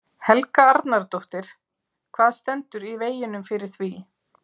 Helga Arnardóttir: Hvað stendur í veginum fyrir því?